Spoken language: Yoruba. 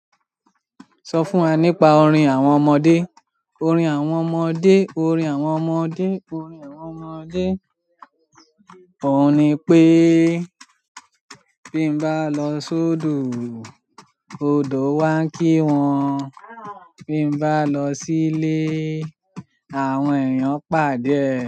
Sọ fún wa nípa orin àwọn ọmọdé. Orin àwọn ọmọdé, orin àwọn ọmọdé, orin àwọn ọmọdé. Óun ní pé: bí mo bá lọ sódo, odo wá ń kí wọn. Bí mo bá lọ sílé, àwọn èèyàn pàdé ẹ.